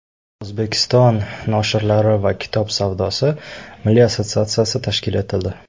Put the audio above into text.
O‘zbekiston noshirlari va kitob savdosi milliy assotsiatsiyasi tashkil etildi.